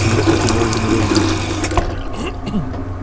грохот его уже не лез в уши